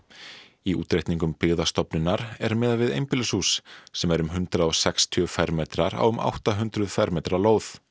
í útreikningum Byggðastofnunar er miðað við einbýlishús sem er um hundrað og sextíu fermetrar á um átta hundruð fermetra lóð